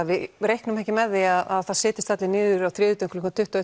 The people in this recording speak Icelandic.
við reiknum ekki með því að það setjist allir niður á þriðjudögum klukkan tuttugu